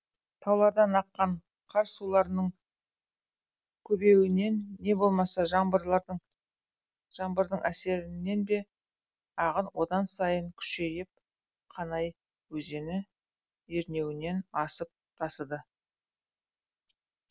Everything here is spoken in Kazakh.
таулардан аққан қар суларының көбеюінен не болмаса жаңбырдың әсерінен бе ағын одан сайын күшейіп қанай өзені ернеуінен асып тасыды